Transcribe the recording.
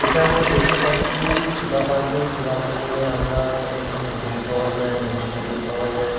এটা আমরা দেখতে পাচ্ছি-ই সুধা পার্লার সুধা পার্লার -এ আমরা এখানে দই পাওয়া যায় মিষ্টি দই পাওয়া যায়।